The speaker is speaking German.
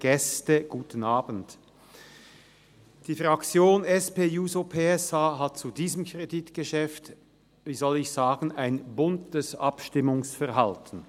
Die Fraktion SP-JUSO-PSA hat zu diesem Kreditgeschäft ein buntes Abstimmungsverhalten.